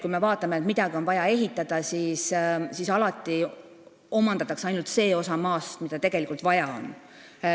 Kui midagi on vaja ehitada, siis omandatakse alati ainult see osa maast, mida tegelikult vaja on.